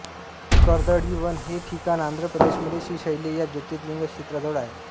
कर्दळीवन हे ठिकाण आंध्र प्रदेशामध्ये श्रीशैल्य या ज्योतिर्लिग क्षेत्राजवळ आहे